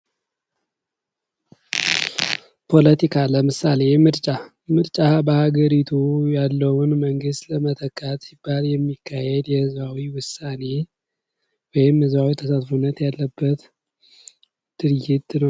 ፖለቲካ ለምሳሌ ምርጫ ፦ ምርጫ በሀገሪቱ ያለውን መንግስት ለመተካት ሲባል የሚካሄድ የህዝባዊ ውሳኔ ወይም ህዝባዊ ተሳትፎነት ያለበት ድርጊት ነው ።